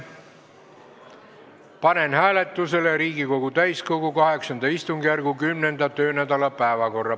Panen hääletusele Riigikogu täiskogu VIII istungjärgu 10. töönädala päevakorra.